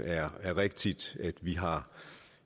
er rigtigt at vi har